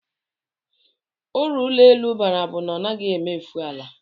Uru ụlọelu bara bụ na ọ naghị emefu ala